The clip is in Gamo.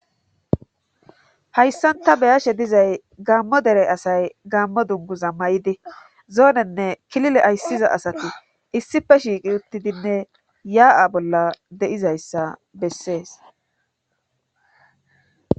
hayssanta beyashe dizay gaammo dere asay gaammo dunguza may7di zoonenne kilile ayssiza asati issife shiiqi uttidinne yaa7a bolla deizayssa bessees